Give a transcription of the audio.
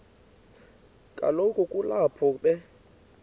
kaloku kulapho be